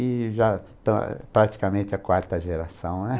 E já pra praticamente a quarta geração, né?